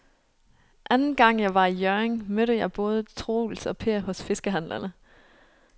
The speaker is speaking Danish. Anden gang jeg var i Hjørring, mødte jeg både Troels og Per hos fiskehandlerne.